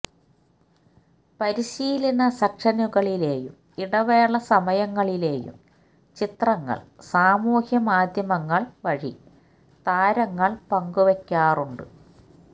പരിശീലന സെക്ഷനുകളിലെയും ഇടവേള സമയങ്ങളിലെയും ചിത്രങ്ങള് സാമൂഹ്യമാധ്യമങ്ങള് വഴി താരങ്ങള് പങ്ക്വെയ്ക്കാറുണ്ട്